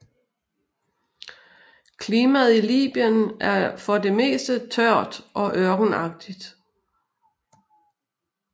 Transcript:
Klimaet i Libyen er for det meste tørt og ørkenagtig